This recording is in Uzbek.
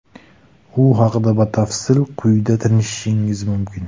U haqda batafsil quyida tanishishingiz mumkin.